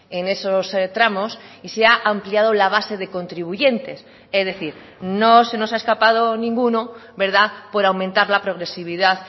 en esos tramos y se ha ampliado la base de contribuyentes es decir no se nos ha escapado ninguno por aumentar la progresividad